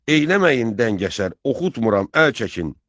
Eyləməyin dəngəsər, oxutmuram əl çəkin!